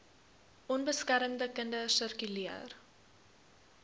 onbeskermde kinders sirkuleer